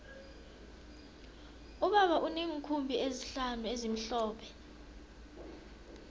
ubaba uneenkhumbi ezihlanu ezimhlophe